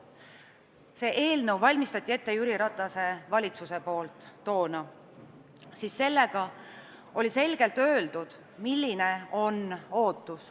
See eelnõu valmistati toona ette Jüri Ratase valitsuse poolt ja selles oli selgelt öeldud, milline on ootus.